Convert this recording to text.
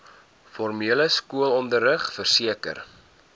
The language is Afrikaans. formele skoolonderrig verseker